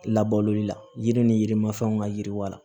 Labaloli la yiri ni yirimanfɛnw ka yiriwa